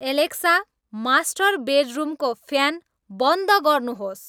Alexa master बेडरूमको fan बन्द गर्नुहोस्